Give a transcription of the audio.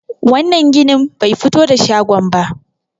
wannan ginin ba fito da shagon ba